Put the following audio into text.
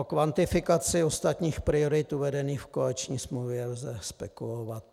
O kvantifikaci ostatních priorit uvedených v koaliční smlouvě lze spekulovat.